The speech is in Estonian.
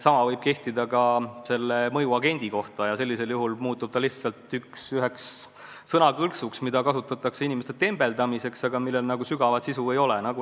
Sama võib kehtida "mõjuagendi" kohta ja sellisel juhul muutub ta üheks sõnakõlksuks, mida kasutatakse inimeste tembeldamiseks, aga millel nagu sügavat sisu ei ole.